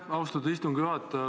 Aitäh, austatud istungi juhataja!